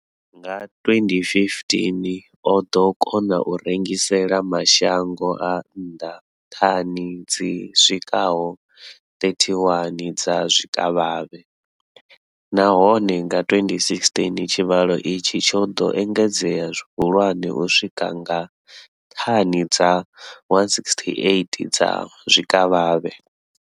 Nga 2015, o ḓo kona u rengisela mashango a nnḓa thani dzi swikaho 31 dza zwikavhavhe, nahone nga 2016 tshivhalo itshi tsho ḓo engedzea zwihulwane u swika kha thani dza 168 dza zwikavhavhe.